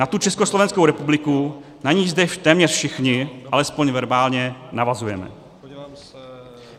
Na tu Československou republiku, na niž zde téměř všichni, alespoň verbálně, navazujeme.